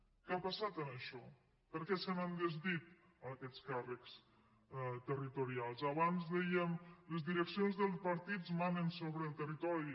què ha passat amb això per què se n’han des·dit aquests càrrecs territorials abans dèiem les di·reccions dels partits manen sobre el territori